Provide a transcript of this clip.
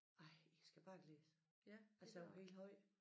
Ej I skal bare glædes altså jeg var helt høj